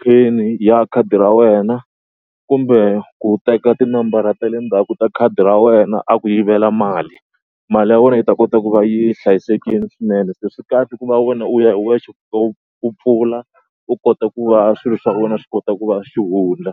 pin ya khadi ra wena kumbe ku teka tinambara ta le ndzhaku ta khadi ra wa wena a ku yivela mali. Mali ya wena yi ta kota ku va yi hlayisekile swinene se swi kahle ku va wena u ya hi wexe u fika u u pfula u kota ku va swilo swa wena swi kota ku va xihundla.